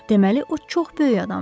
Deməli o çox böyük adamdır.